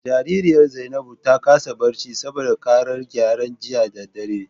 Jaririyar Zainabu ta kasa barci saboda karar gyare jiya da dare.